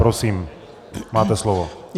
Prosím, máte slovo.